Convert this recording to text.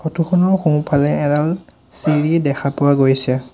Photo খনৰ সোঁ-ফালে এডাল চিৰি দেখা পোৱা গৈছে।